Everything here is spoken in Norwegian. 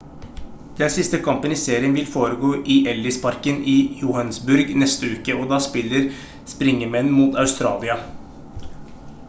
den siste kampen i serien vil foregå i ellis-parken i johannesburg neste uke og da spiller springemen mot australia